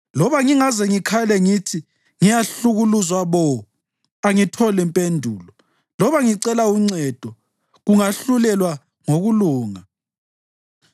Loba ngingaze ngikhale ngithi, ‘Ngiyahlukuluzwa bo!’ angitholi mpendulo; loba ngicela uncedo, kangahlulelwa ngokulunga.